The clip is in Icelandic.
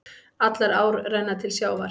Allar ár renna til sjávar.